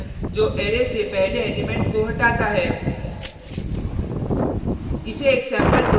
shift function जो array से पहले एलिमेंट को हटाता है